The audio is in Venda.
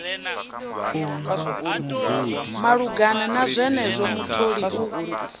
malugana na zwenezwo mutholi u